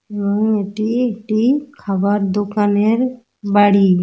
এবং এটি একটি খাবার দোকানের বাড়ি।